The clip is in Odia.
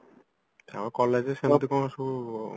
ହଁ collegeରେ ସେମିତି କଣ ସବୁ